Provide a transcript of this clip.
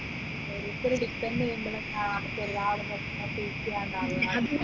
ശരിക്കും ഒരു depend ചെയ്യുമ്പോളാ അവർക്ക് എല്ലാ വിഷമം face ചെയ്യാണ്ടാവുഅ